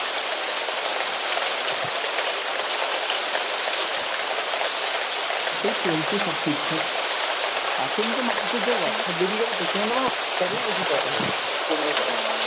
এই চলছে সব ঠিকঠাক। এখনতো মানুষের যে Whatsapp বেরিয়ে গেছে তোর সঙ্গে তো আমার Whatsapp এই বেশি কথা হয় , phone আর কত